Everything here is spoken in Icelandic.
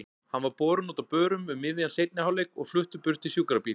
Hann var borinn út á börum um miðjan seinni hálfleik og fluttur burt í sjúkrabíl.